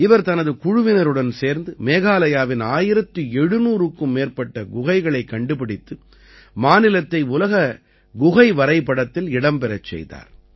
இவர் தனது குழுவினருடன் சேர்ந்து மேகாலயாவின் 1700 க்கும் மேற்பட்ட குகைகளைக் கண்டுபிடித்து மாநிலத்தை உலக குகை வரைபடத்தில் இடம் பெறச் செய்தார்